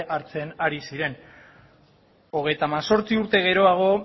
hartzen ari ziren hogeita hemezortzi urte geroago